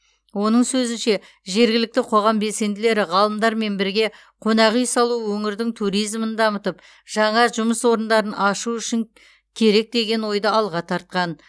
оның сөзінше жергілікті қоғам белсенділері ғалымдармен бірге қонақ үй салу өңірдің туризмін дамытып жаңа жұмыс орындарын ашу үшін керек деген ойды алға тартқан